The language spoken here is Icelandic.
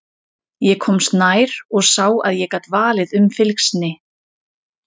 Ég komst nær og sá að ég gat valið um fylgsni.